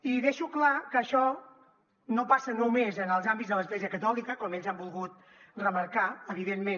i deixo clar que això no passa només en els àmbits de l’església catòlica com ells han volgut remarcar evidentment